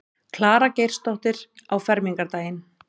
Klara Geirsdóttir á fermingardaginn.